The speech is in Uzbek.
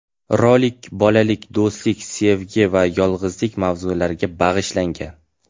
Rolik bolalik, do‘stlik, sevgi va yolg‘izlik mavzulariga bag‘ishlangan.